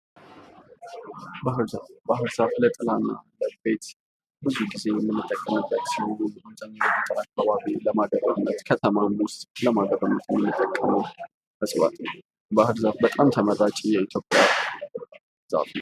ባህር ዛፍ፤ ባህር ዛፍ ለጥላ እና ለቤት ብዙ ጊዜ የምንጠቀምበት በተለያዩ አካባቢ ለማገዶነት እንዲሁም በከተማ ውስጥ ለማገዶነት የምንጠቀምበት ተመራጭ የኢትዮጵያ ዛፍ ነው።